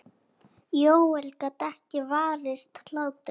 Jóel gat ekki varist hlátri.